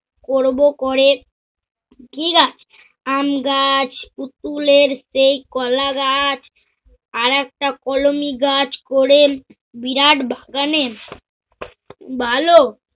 করব করে, কি গাছ? আম গাছ, পুতুলের সেই কলা গাছ আরেকটা কলোনি গাছ করে বিরাট বাগানের ভালো